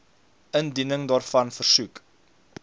indiening daarvan versoek